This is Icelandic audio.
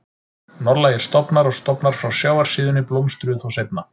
Norðlægir stofnar og stofnar frá sjávarsíðunni blómstruðu þó seinna.